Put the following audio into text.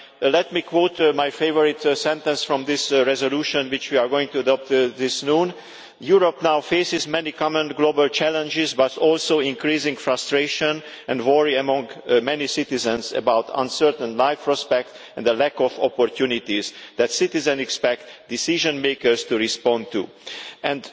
Let me quote my favourite sentence from the resolution we are going to adopt this afternoon Europe now faces many common global challenges, but also increasing frustration and worry among many citizens about uncertain life prospects and the lack of opportunities that citizens expect decision makers to respond to', and